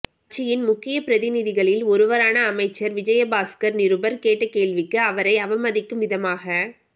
கட்சியின் முக்கியப் பிரதிநிதிகளில் ஒருவரான அமைச்சர் விஜயபாஸ்கர் நிருபர் கேட்ட கேள்விக்கு அவரை அவமதிக்கும் விதமாக